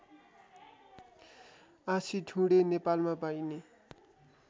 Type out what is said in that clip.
आँसीठुँडे नेपालमा पाइने